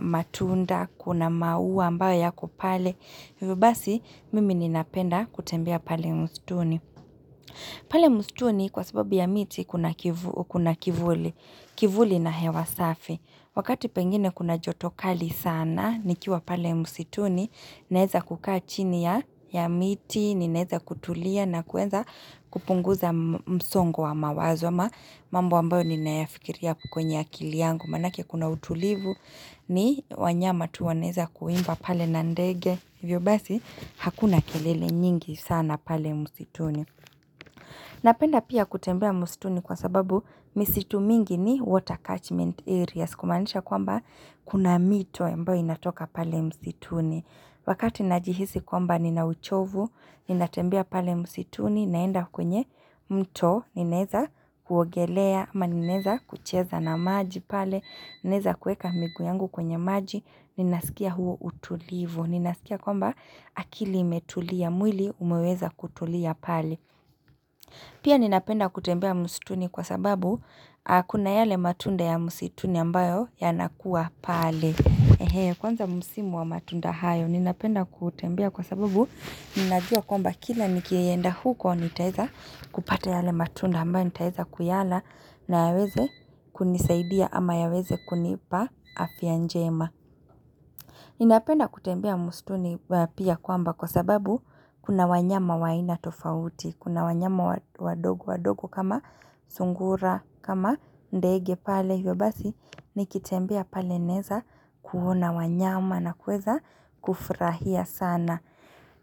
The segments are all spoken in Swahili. matunda, kuna maua ambayo yako pale. Hivyo basi mimi ninapenda kutembea pale mstuni. Pale mstuni kwa sababu ya miti kuna kivuli. Kivuli na hewasafi. Wakati pengine kuna jotokali sana, nikiwa pale mstuni, naeza kukaa chini ya miti, ni naeza kutulia na kuenza kupunguza msongo wa mawazoma. Mambo ambayo nimeyafikiria kwenye akili yangu manake kuna utulivu ni wanyama tuwanaeza kuimba pale nandege hivyo basi hakuna kelele nyingi sana pale musituni napenda pia kutembea msituni kwa sababu misitu mingi ni water catchment areas kumanisha kwamba kuna mito ambayo inatoka pale msituni wakati najihisi kwamba ninauchovu ninatembea pale msituni naenda kwenye mto Ninaeza kuogelea ama ninaeza kucheza na maji pale Ninaeza kueka miguu yangu kwenye maji Ninasikia huo utulivu Ninasikia kwamba akili imetulia mwili umeweza kutulia pale Pia ninapenda kutembea msituni kwa sababu Kuna yale matunda ya msituni ambayo ya nakuwa pale Kwanza msimu wa matunda hayo Ninapenda kutembea kwa sababu Ninajua kwamba kila nikienda huko nitaeza kupata yale matunda ambayo nitaeza kuyala na yaweze kunisaidia ama yaweze kunipa afya njema Ninapenda kutembea mstuni pia kwamba kwa sababu kuna wanyama wa aina tofauti Kuna wanyama wadogo wadogo kama sungura kama ndege pale hiyo basi nikitembea pale neza kuona wanyama na kueza kufurahia sana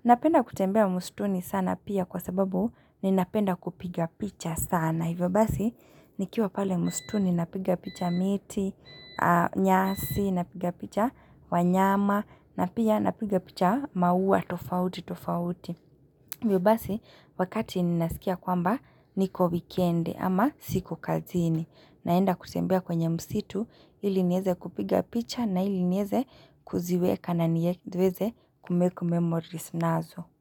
Napenda kutembea mstuni sana pia kwa sababu ni napenda kupiga picha sana. Hivyo basi ni kiwa pale mstuni napiga picha miti, nyasi, napiga picha wanyama, napia napiga picha maua, tofauti, tofauti. Hivyo basi wakati ni nasikia kwamba niko weekend ama siku kazini. Naenda kusembia kwenye msitu ili nieze kupiga picha na nieze kuziweka na niweze kumekumake memories nazo.